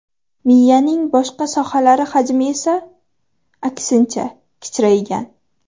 Miyaning boshqa sohalari hajmi esa, aksincha, kichraygan.